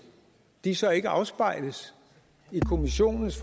de så ikke afspejles i kommissionens